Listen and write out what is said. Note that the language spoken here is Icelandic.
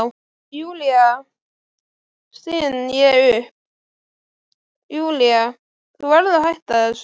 Júlía, styn ég upp, Júlía, þú verður að hætta þessu.